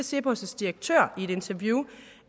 cepos direktør i et interview